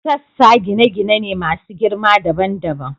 Sassa gine-gine ne masu girma dabam dabam.